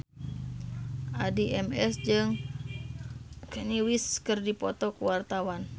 Addie MS jeung Kanye West keur dipoto ku wartawan